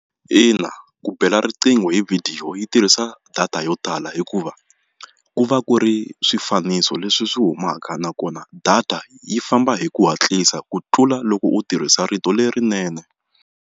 Ina, ku bela riqingho hi vhidiyo yi tirhisa data yo tala hikuva ku va ku ri swifaniso leswi swi humaka nakona data yi famba hi ku hatlisa ku tlula loko u tirhisa rito lerinene.